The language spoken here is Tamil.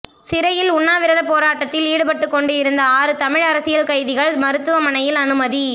சிறையில் உண்ணாவிரதப் போராட்டத்தில் ஈடுபட்டுக் கொண்டு இருந்த ஆறு தமிழ் அரசியல் கைதிகள் மருத்துவமனையில் அனுமதி